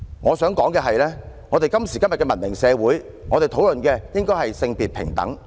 我想指出的是，在今時今日的文明社會，我們應該討論促進性別平等。